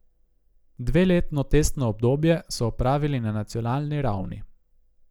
Dveletno testno obdobje so opravili na nacionalni ravni.